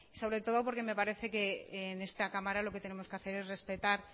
sobre todo porque me parece que en esta cámara lo que tenemos que hacer es respetar